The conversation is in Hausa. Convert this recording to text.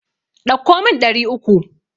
Ɗauko min ɗari uku.